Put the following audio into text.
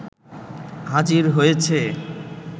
হাজির হয়েছে